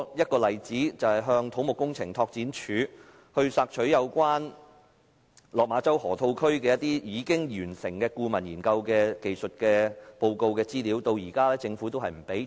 舉例來說，我最近向土木工程拓展署索取有關落馬洲河套區已完成的顧問研究的技術報告資料，至今政府仍未提供。